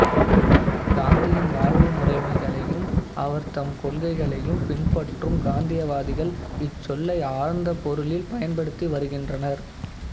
காந்தியின் வாழ்வு முறைகளையும் அவர்தம் கொள்கைகளையும் பின்பற்றும் காந்தியவாதிகள் இச்சொல்லை ஆழ்ந்த பொருளில் பயன்படுத்தி வருகின்றனர்